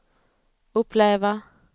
uppleva